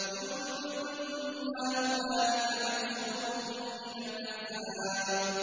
جُندٌ مَّا هُنَالِكَ مَهْزُومٌ مِّنَ الْأَحْزَابِ